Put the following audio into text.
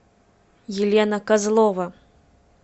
елена козлова